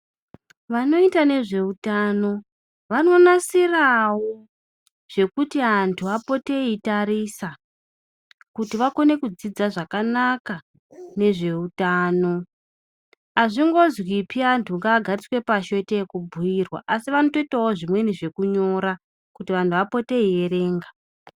Vanoita nezveutano vanonasirawo zvekuti antu apote eitarisa kuti vakone kudzidza zvakanaka nezveutano. Hazvingozwipi antu ngaagadzikwe pashi oite ekubhuirwa, asi vanotoitawo zvimweni zvekunyora kuti antu apote eierenga.